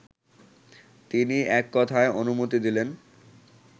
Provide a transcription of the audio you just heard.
তিনি এককথায় অনুমতি দিলেন